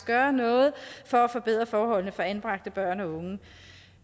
gøre noget for at forbedre forholdene for anbragte børn og unge